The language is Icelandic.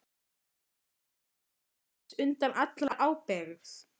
Heldurðu að þú sért laus undan allri ábyrgð?